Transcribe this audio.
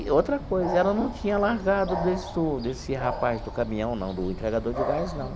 E outra coisa, ela não tinha largado desse desse rapaz do caminhão, não, do entregador de gás, não.